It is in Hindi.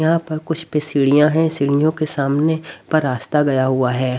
यहां पर कुछ पे सीढ़ियां है सीढ़ियों के सामने पर रास्ता गया हुआ है।